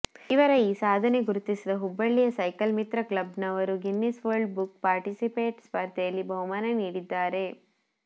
ಇವರ ಈ ಸಾಧನೆ ಗುರುತಿಸಿದ ಹುಬ್ಬಳ್ಳಿಯ ಸೈಕಲ್ ಮಿತ್ರ ಕ್ಲಬ್ನವರು ಗಿನ್ನಿಸ್ ವರ್ಲ್ಡ್ ಬುಕ್ ಪಾರ್ಟಿಸಿಪೇಟ್ ಸ್ಪರ್ಧೆಯಲ್ಲಿ ಬಹುಮಾನ ನೀಡಿದ್ದಾರೆ